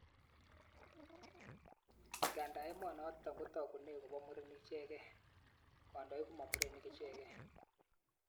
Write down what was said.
Ngandaa emonotok kotakunei kopo murenik ichekei, kandoik koma murenik ichegei